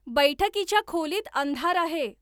बैठकीच्या खोलीत अंधार आहे